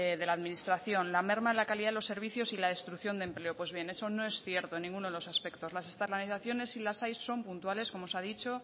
de la administración la merma en la calidad de los servicios y la destrucción del empleo pues bien eso no es cierto en ninguno de los aspectos la externalazaciones si las hay son puntuales como se ha dicho